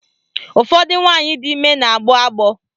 Ụfọdụ nwaanyị di ime na-agbọ agbọ.